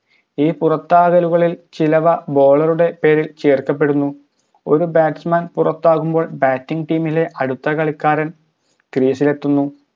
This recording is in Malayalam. ലുകളിൽ ചിലവ bowler ഉടെ പേരിൽ ചേർക്കപ്പെടുന്നു ഒരു batsman പുറത്താകുമ്പോൾ batting ലെ അടുത്ത കളിക്കാരൻ crease ഇലെത്തുന്നു